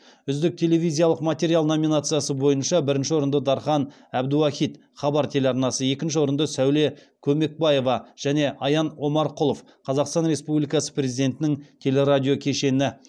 үздік телевизиялық материал номинациясы бойынша бірінші орынды дархан әбдіуахит екінші орынды сәуле көмекбаева және аян омарқұлов